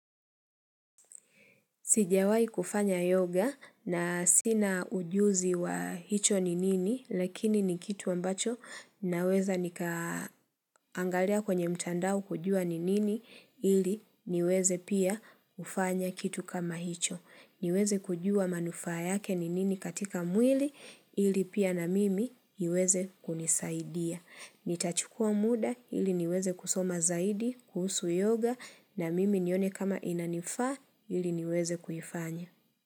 Sijawahi kufanya yoga na sina ujuzi wa hicho ni nini, lakini ni kitu ambacho naweza nikaangalia kwenye mtandao kujua ni nini ili niweze pia kufanya kitu kama hicho. Niweze kujua manufaa yake ni nini katika mwili ili pia na mimi iweze kunisaidia. Nitachukua muda ili niweze kusoma zaidi, kuhusu yoga na mimi nione kama inanifaa ili niweze kuifanya.